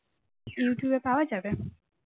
youtube এ পাওয়া যাবে?